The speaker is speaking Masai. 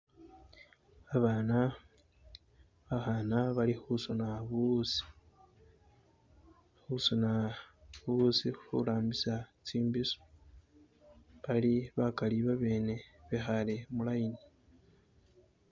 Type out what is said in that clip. Abaana bakhana bali khusoona buwuuzi khurambisa tsi mbiso bali bakali naabi bekhale mu line.